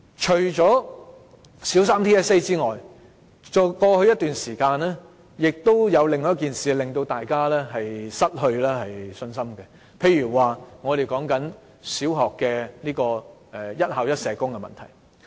除了小三 TSA 外，過去一段時間還有另一件事令大家失去信心，就是小學"一校一社工"的問題。